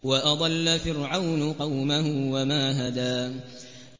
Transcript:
وَأَضَلَّ فِرْعَوْنُ قَوْمَهُ وَمَا هَدَىٰ